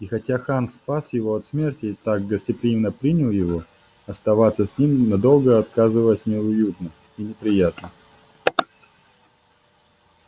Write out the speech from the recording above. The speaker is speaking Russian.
и хотя хан спас его от смерти и так гостеприимно принял его оставаться с ним надолго оказывалось неуютно и неприятно